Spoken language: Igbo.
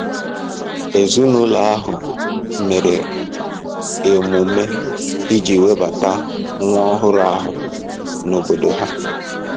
Ezinụlọ ahụ mere emume iji webata nwa ọhụrụ ahụ n'obodo ha.